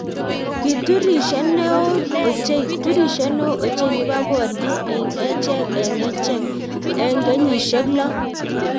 kiturishee neo ochei turishee neo ochei nebo borie eng echek eng echek eng kenyishek lo